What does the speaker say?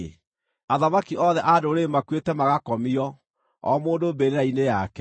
Athamaki othe a ndũrĩrĩ makuĩte magakomio, o mũndũ mbĩrĩra-inĩ yake.